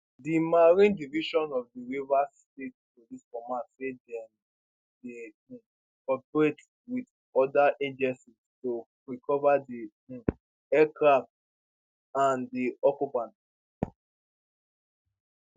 di marine division of di rivers state police command say dem dey um cooperate wit oda agencies to recover di um aircraft and di occupants